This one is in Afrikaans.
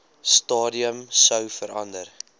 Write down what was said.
stadium sou verander